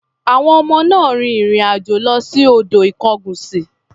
Àwọn ọmọ náà rin ìrìn-àjò lọ sí odò Ikongunsi.